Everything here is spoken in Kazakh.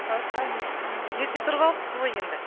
басқа не істейміз иә ерте тұрып алыпсыз ғой енді